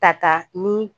Tata ni